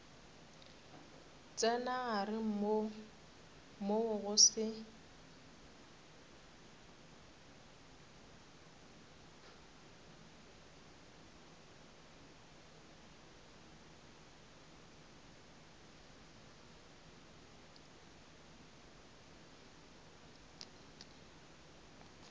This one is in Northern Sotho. tsena gare moo go se